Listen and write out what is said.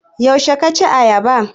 Yaushe ka ci ayaba?